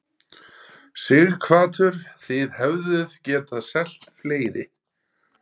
Sighvatur: Þið hefðuð getað selt fleiri?